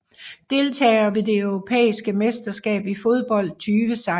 Deltagere ved det europæiske mesterskab i fodbold 2016